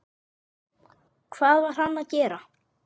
Hvað var hann að gera?